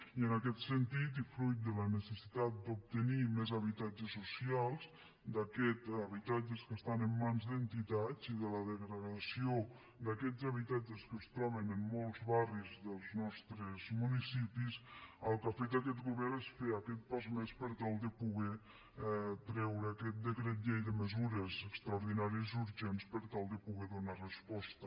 i en aquest sentit i fruit de la necessitat d’obtenir més habitatges socials d’aquests habitatges que estan en mans d’entitats i de la degradació d’aquests habitatges que es troben en molts barris dels nostres municipis el que ha fet aquest govern és fer aquest pas més per tal de poder treure aquest decret llei de mesures extraordinàries i urgents per tal de poder hi donar resposta